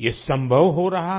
ये संभव हो रहा है